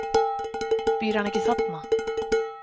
Býr hann ekki þarna?